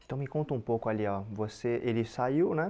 Então me conta um pouco ali ó, você ele saiu, né?